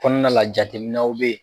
Kɔnɔna la jateminaw be yen.